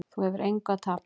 Þú hefur engu að tapa.